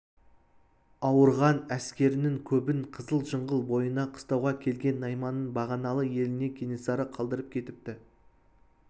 ауырған әскерінің көбін қызыл жыңғыл бойына қыстауға келген найманның бағаналы еліне кенесары қалдырып кетіпті